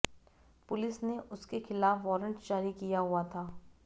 police ने उसके खिलाफ वारंट जारी किया हुआ था